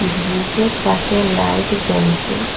ব্রীজের পাশে লাইট জ্বলসে ।